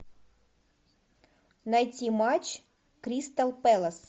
найти матч кристал пэлас